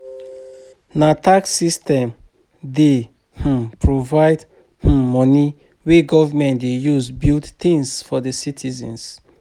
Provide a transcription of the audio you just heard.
Na tax system dey um provide um moni wey government dey use build tins for di citizens.